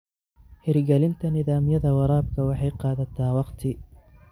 Hirgelinta nidaamyada waraabka waxay qaadataa waqti.